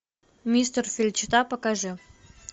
мистер феличита покажи